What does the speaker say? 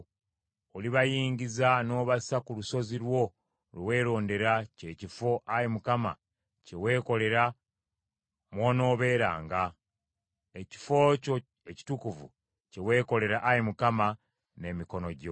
Olibayingiza n’obassa ku lusozi lwo lwe weerondera, kye kifo, Ayi Mukama kye weekolera mw’onoobeeranga, ekifo kyo Ekitukuvu, kye weekolera, Ayi Mukama , n’emikono gyo.